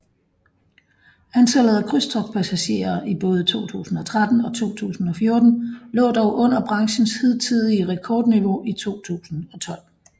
Antallet af krydstogtpassagerer i både 2013 og 2014 lå dog under branchens hidtidige rekordniveau i 2012